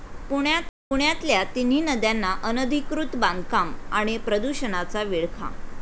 पुण्यातल्या तिन्ही नद्यांना अनधिकृत बांधकामं आणि प्रदूषणाचा विळखा